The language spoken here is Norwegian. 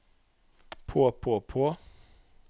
på på på